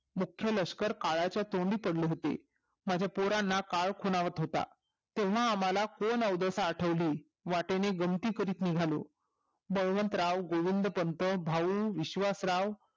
मुख्य लष्कर काळाच्या तोंडी पडले होतो माझ्या पोरांना काळ खुणावत होता तेव्हा आम्हला कोण अवदसा आठवली वाटेने गंमती करत निघालो बळवंतराव गोविंदपंत भाऊ विश्वासराव